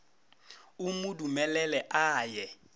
o mo dumelele a ye